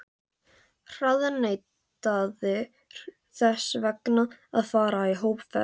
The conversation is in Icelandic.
harðneitaðir þess vegna að fara í hópferð!